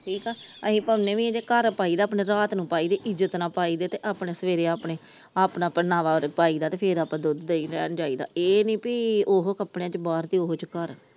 ਠੀਕਾ ਅਸੀਂ ਪਾਉਨੇ ਵੀ ਆ ਘਰ ਪਾਈ ਦਾ ਆਪਣੇ ਰਾਤ ਨੂੰ ਪਾਇਦੇ ਇੱਜ਼ਤ ਨਾ ਪਾਇਦੇ ਆਪਣੇ ਸਵੇਰੇ ਆਪਣੇ ਆਪਣਾ ਪਹਿਰਾਵਾ ਪਾਇਦਾ ਤੇ ਫਿਰ ਆਪਾ ਦੁੱਧ ਦਹੀਂ ਲੈਣ ਜਾਈਦਾ ਇਹ ਨੀ ਪੀ ਓਹੀ ਕਪੜੀਆ ਚ ਬਾਹਰ ਓਹੀ ਚ ਘਰ ।